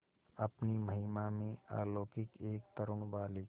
अपनी महिमा में अलौकिक एक तरूण बालिका